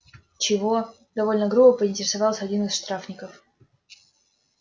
чего довольно грубо поинтересовался один из штрафников